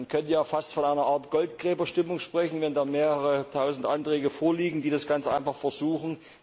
Man könnte ja fast von einer Art Goldgräberstimmung sprechen, wenn dann mehrere Tausend Anträge vorliegen, die das Ganze einfach versuchen.